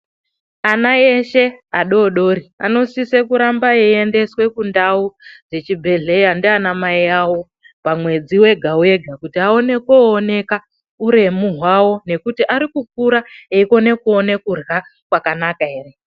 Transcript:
Ana eshe adodori, anosise kuramba eiendeswe kundau dzechibhedhlera ndianamai avo pamwedzi wega-wega kuti aone kooneka uremu hwavo ngekuti arikukura eikone kuona kurya kwakanaka ere.